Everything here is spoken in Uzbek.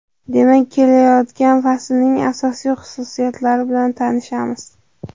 Demak kelayotgan faslning asosiy xususiyatlari bilan tanishamiz.